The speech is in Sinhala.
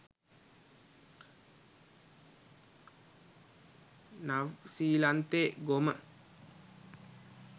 නව්සීලන්තෙ ගොම.